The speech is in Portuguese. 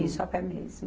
Isso, a pé mesmo.